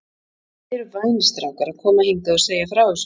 Þið eruð vænir strákar að koma hingað og segja frá þessu.